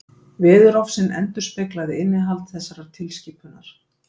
Veðurofsinn endurspeglaði innihald þessarar tilskipunar.